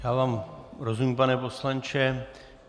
Já vám rozumím, pane poslanče.